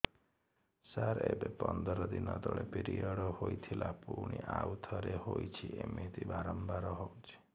ସାର ଏବେ ପନ୍ଦର ଦିନ ତଳେ ପିରିଅଡ଼ ହୋଇଥିଲା ପୁଣି ଆଉଥରେ ହୋଇଛି ଏମିତି ବାରମ୍ବାର ହଉଛି